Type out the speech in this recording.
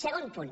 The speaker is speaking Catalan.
segon punt